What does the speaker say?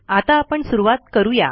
आता आपण सुरूवात करू या